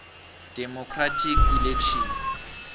democratic election